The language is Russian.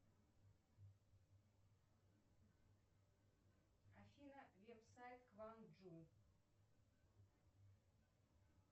афина веб сайт кванджу